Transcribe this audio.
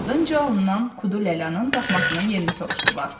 Ardınca ondan Kudu Lalanın daxmasının yerini soruşdular.